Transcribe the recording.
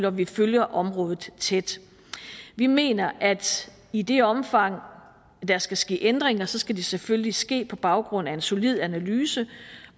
og vi følger området tæt vi mener at i det omfang der skal ske ændringer skal de selvfølgelig ske på baggrund af en solid analyse